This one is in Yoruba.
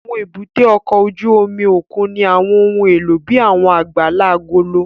Àwọn èbúté ọkọ̀ ojú omi òkun ní àwọn ohun èlò bíi àwọn àgbàlá agolo.